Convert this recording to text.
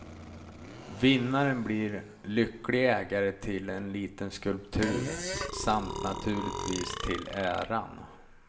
Vinnaren blir lycklig ägare till en liten skulptur, samt naturligtvis till äran.